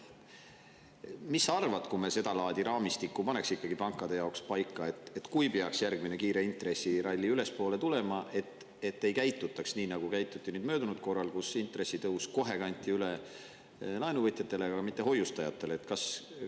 Mis sa arvad sellest, kui me seda laadi raamistiku paneks ikkagi pankade jaoks paika, et kui peaks tulema järgmine kiire intresside tõusu ralli, siis ei käitutaks nii, nagu käituti möödunud korral, kui intressitõus kanti kohe üle laenuvõtjatele, aga mitte hoiustajatele?